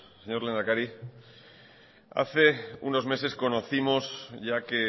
señor lehendakari hace unos meses conocimos ya que